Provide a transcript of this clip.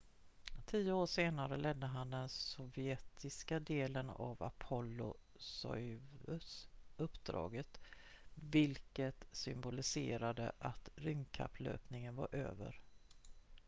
tio år senare ledde han den sovjetiska delen av apollo-soyuz-uppdaget vilket symboliserade att rymdkapplöpningen var över